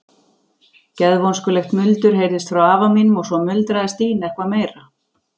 Geðvonskulegt muldur heyrðist frá afa mínum og svo muldraði Stína eitthvað meira.